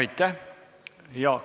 Aitäh!